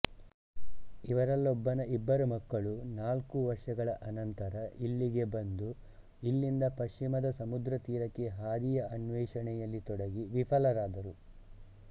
ಇವರಲ್ಲೊಬ್ಬನ ಇಬ್ಬರು ಮಕ್ಕಳು ನಾಲ್ಕು ವರ್ಷಗಳ ಅನಂತರ ಇಲ್ಲಿಗೆ ಬಂದು ಇಲ್ಲಿಂದ ಪಶ್ಚಿಮದ ಸಮುದ್ರತೀರಕ್ಕೆ ಹಾದಿಯ ಅನ್ವೇಷಣೆಯಲ್ಲಿ ತೊಡಗಿ ವಿಫಲರಾದರು